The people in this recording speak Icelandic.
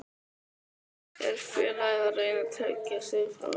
Er félagið að reyna að tryggja sig frá falli?